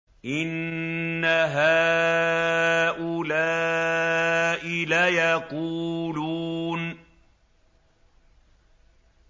إِنَّ هَٰؤُلَاءِ لَيَقُولُونَ